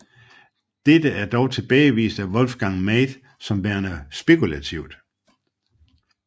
Dette er dog tilbagevist af Wolfgang Meid som værende spekulativt